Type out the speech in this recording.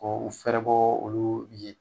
Ko u fɛrɛbɔ olu ye